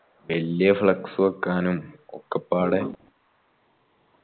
വെല്യ flux വെക്കാനും ഒക്കെപ്പാടെ